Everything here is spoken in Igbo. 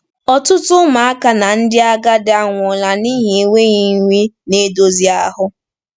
Ọtụtụ ụmụaka na ndị agadi anwụọla n’ihi enweghị nri na-edozi ahụ.